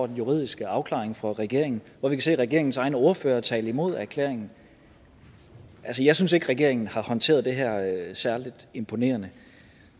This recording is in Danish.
den juridiske afklaring fra regeringen hvor vi kan se at regeringens egen ordfører har talt imod erklæringen jeg synes ikke regeringen har håndteret det her særlig imponerende